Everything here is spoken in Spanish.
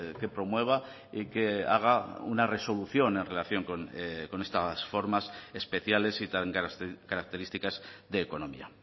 que promueva y que haga una resolución en relación con estas formas especiales y tan características de economía